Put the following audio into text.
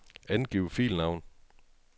Angiv filnavn.